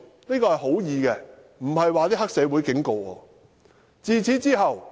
"這是善意的，並非黑社會警告我。